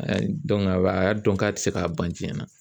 a y'a dɔn k'a tɛ se k'a ban jiyɛn na.